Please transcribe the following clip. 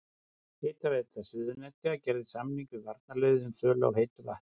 Hitaveita Suðurnesja gerði samning við varnarliðið um sölu á heitu vatni.